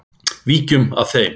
Víkjum að þeim.